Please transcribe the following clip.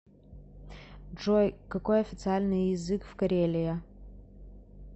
джой какой официальный язык в карелия